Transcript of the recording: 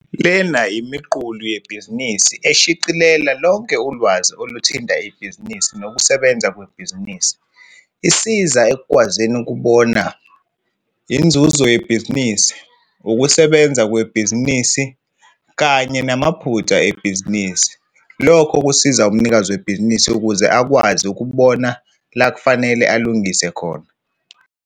Lezi yizibonelo ezimbalwa zokusebenzisa idatha ukwenza izinqumo eziphusile ukwenza ngcono ibhizinisi lakho.